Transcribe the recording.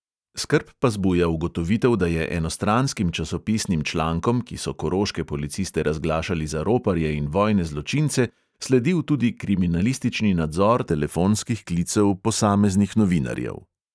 Skrb pa zbuja ugotovitev, da je enostranskim časopisnim člankom, ki so koroške policiste razglašali za roparje in vojne zločince, sledil tudi kriminalistični nadzor telefonskih klicev posameznih novinarjev.